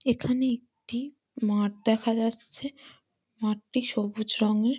এখানে একটি মাঠ দেখা যাচ্ছে মাঠটি সবুজ রং এর--